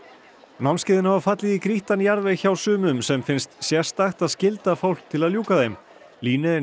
námskeiðin hafa fallið í grýttan jarðveg hjá sumum sem finnst sérstakt að skylda fólk til að ljúka þeim